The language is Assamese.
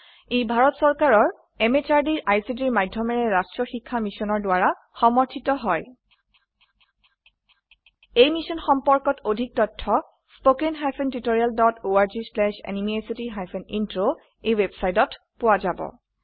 ই ভাৰত চৰকাৰৰ MHRDৰ ICTৰ মাধয়মেৰে ৰাস্ত্ৰীয় শিক্ষা মিছনৰ দ্ৱাৰা সমৰ্থিত হয় এই মিশ্যন সম্পৰ্কত অধিক তথ্য spoken hyphen tutorial dot org slash এনএমইআইচিত হাইফেন ইন্ট্ৰ ৱেবচাইটত পোৱা যাব